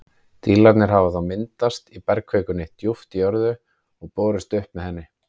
Dílarnir hafa þá myndast í bergkvikunni djúpt í jörðu og borist upp með henni.